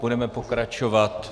Budeme pokračovat...